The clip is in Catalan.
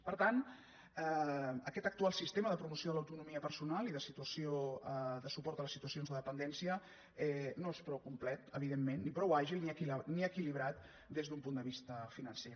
per tant aquest actual sistema de promoció de l’autonomia personal i de suport a les situacions de dependència no és prou complet evidentment ni prou àgil ni equilibrat des d’un punt de vista financer